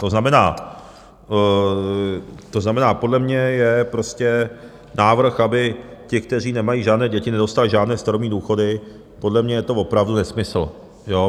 To znamená, podle mě je prostě návrh, aby ti, kteří nemají žádné děti, nedostali žádné starobní důchody, podle mě je to opravdu nesmysl.